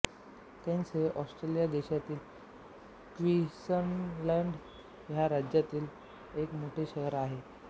Cairns हे Australia देशाच्या Queensland ह्या राज्यामधील एक मोठे शहर आहे